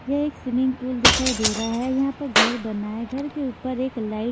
यह एक swimming pool दिखाई दे रहा है यहां पर घर बना है घर के ऊपर एक लाइट --